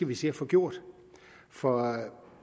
vi skal få gjort for